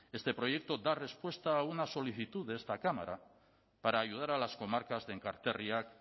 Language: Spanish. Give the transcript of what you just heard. este proyecto da respuesta a una solicitud de esta cámara para ayudar a las comarcas de enkarterriak